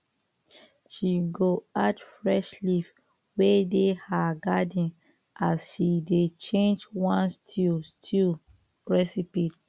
she go add fresh leaf wey dey her garden as she dey change one stew stew recipe